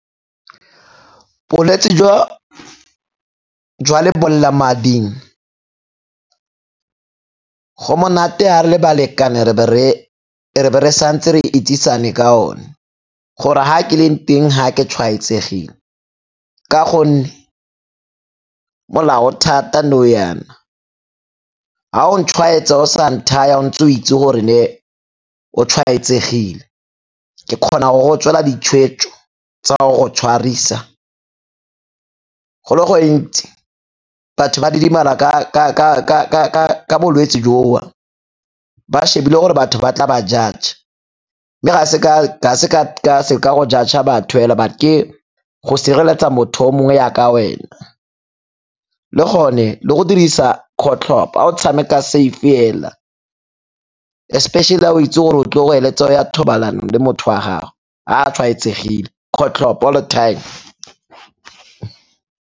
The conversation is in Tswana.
Bolwetsi jwa lebolelamading go monate ha re le balekane e be re sa ntse re itsesane ka one gore ha ke leng teng ha ke tshwaetsegile ka gonne molao o thata nou yana. Ha o ntshwaetsa o sa nthaya o ntse o itse gore ne o tshwaetsegile, ke kgona go go tswela ditshwetso tsa go go tshwarisa. Go le gontsi batho ba didimala ka bolwetse joo ba shebile gore batho ba tla ba judge-a. Mme ga se ka go judge-a batho hela but ke go sireletsa motho o mongwe yaka wena le gone le go dirisa kgotlhopo ha o tshameka safe hela, especially ha o itse gore o tlo heletsa o ya thobalanong le motho wa gago ha a tshwaetsegile, kgotlhopo all the time.